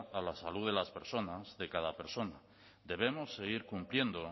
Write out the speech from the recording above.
a la salud de las personas de cada persona debemos seguir cumpliendo